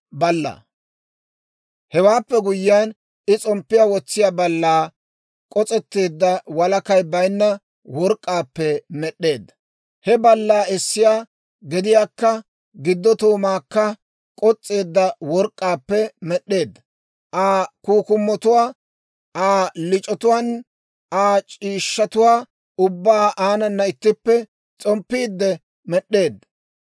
Hewaappe guyyiyaan I s'omppiyaa wotsiyaa ballaa k'os'etteedda walakay baynna work'k'aappe med'd'eedda; he ballaa essiyaa gediyaakka, giddo toomaakka k'os's'eedda work'k'aappe med'd'eedda. Aa kukkumotuwaa, Aa lic'otuwaan Aa c'iishshatuwaa ubbaa aanana ittippe s'omppiidde med'd'eedda.